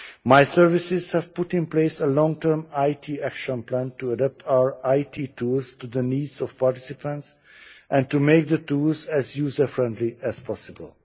My services have put in place a long term IT action plan to adapt our IT tools to the needs of participants and to make the tools as user-friendly as possible.